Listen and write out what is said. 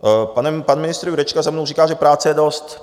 Pan ministr Jurečka za mnou říká, že práce je dost.